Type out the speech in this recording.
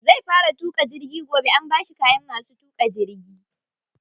Zai fara tuƙa jirgi gobe, an bashi kayan masu tuƙa jirgi.